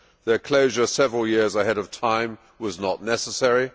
Their closure several years ahead of time was not necessary